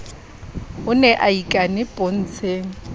o ne a ikane pontsheng